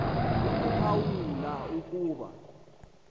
akuphawu la ukuba